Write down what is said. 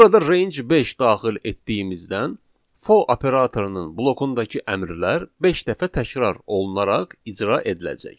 Burada range 5 daxil etdiyimizdən for operatorunun blokundakı əmrlər beş dəfə təkrarlanaraq icra ediləcək.